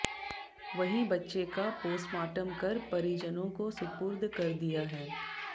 वहीं बच्चें का पोस्टमार्टम कर परिजनों को सुपुर्द कर दिया है